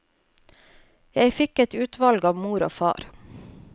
Jeg fikk et utvalg av mor og far.